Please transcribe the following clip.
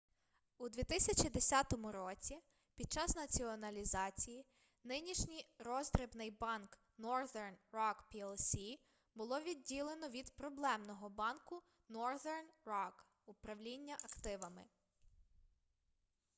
у 2010 році під час націоналізації нинішній роздрібний банк northern rock plc було відділено від проблемного банку northern rock управління активами